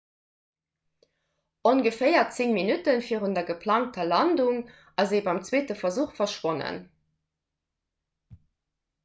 ongeféier 10 minutte virun der geplangter landung ass e beim zweete versuch verschwonnen